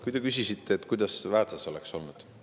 Te küsisite, kuidas Väätsas oleks olnud.